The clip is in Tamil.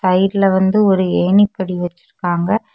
சைடுல வந்து ஒரு ஏணிப்படி வச்சிருக்காங்க.